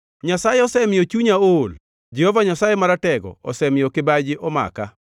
Nyasaye osemiyo chunya ool; Jehova Nyasaye Maratego osemiyo kibaji omaka.